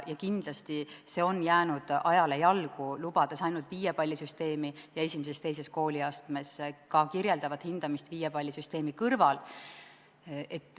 Kindlasti on see jäänud ajale jalgu, lubades ainult viiepallisüsteemi ning I ja II kooliastmes ka kirjeldavat hindamist viiepallisüsteemi kõrval.